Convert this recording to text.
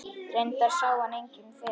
Reyndar sá hann enginn fyrir.